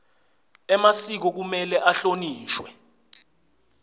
emasiko kumele ahlonishwe